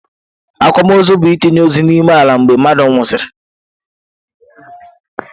Akwamaọzụ bu-itinye ozu n'ime ala mgbe mmadu nwụsịrị.